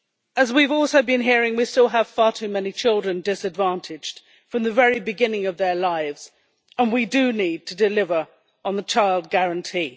As we have also been hearing, we still have far too many children disadvantaged from the very beginning of their lives and we do need to deliver on the child guarantee.